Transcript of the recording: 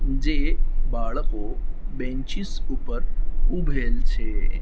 જે બાળકો બેન્ચીસ ઉપર ઉભેલ છે.